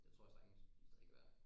Det tror jeg sagtens vi stadig kan være